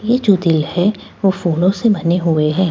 यह जो दिल है वो फूलों से बने हुए है।